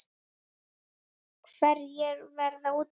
Hverjir verða úti?